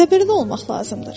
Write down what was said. Səbrli olmaq lazımdır.